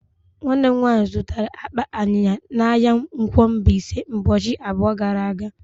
Nwannem nwanyi zụtara akpa ayiya n'ahia nkwo Mbaise ubochi abuo gara aga.